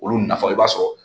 Olu nafa i b'a sɔrɔ